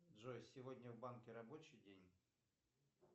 джой сегодня в банке рабочий день